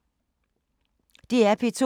DR P2